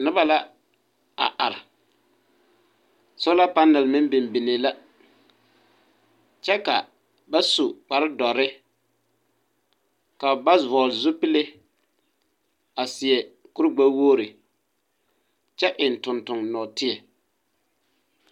Noba la a are. Sola panale meŋ bimbinee la, kyԑ ka ba su kpare dͻrre, ka ba vͻͻ zupili a seԑ kure-gbԑwogiri kyԑ eŋ tontoŋ nͻͻteԑ.